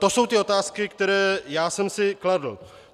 To jsou ty otázky, které já jsem si kladl.